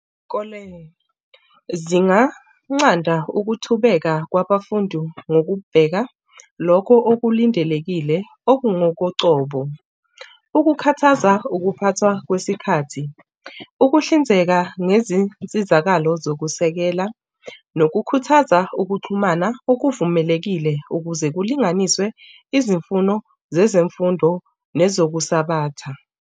Izikole zinganqanda ukuthubeka kwabafundi ngokubheka lokho okulindelekile okungokocobo. Ukukhathaza ukuphathwa kwesikhathi, ukuhlinzeka ngezinsizakalo zokusekela nokukhuthaza ukuxhumana okuvulelekile ukuze kulinganiswe izimfuno zezemfundo nezokusabatha.